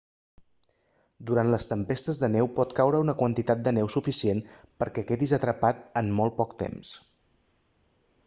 durant les tempestes de neu pot caure una quantitat de neu suficient per a que quedis atrapat en molt poc temps